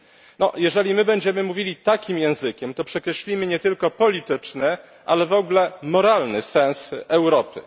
No, jeżeli my będziemy mówili takim językiem, to przekreślimy nie tylko polityczny, ale w ogóle moralny sens Europy.